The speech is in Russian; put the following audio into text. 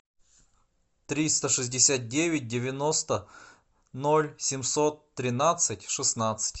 триста шестьдесят девять девяносто ноль семьсот тринадцать шестнадцать